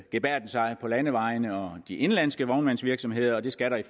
gebærden sig på landevejene og de indenlandske på vognmandsvirksomheder og det skal der